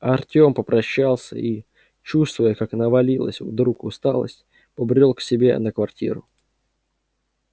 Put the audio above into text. артем попрощался и чувствуя как навалилась вдруг усталость побрёл к себе на квартиру